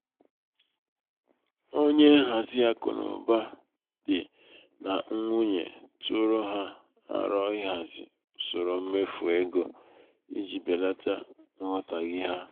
onye nhazi akụnaụba dị nà nwunye tụụrụ ha aro ịhazi usoro mmefu égo i ji belata nghọtahie ha.